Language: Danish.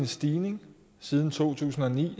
stigning siden to tusind og ni